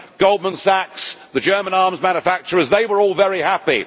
Goldman Sachs, the German arms manufacturers, they were all very happy.